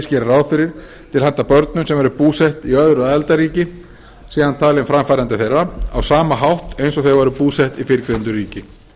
gerir ráð fyrir til handa börnum sem eru búsett í öðru aðildarríki sé hann talinn framfærandi þeirra á sama hátt og þau væru búsett í fyrrgreindu ríki